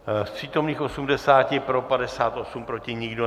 Z přítomných 80, pro 58, proti nikdo.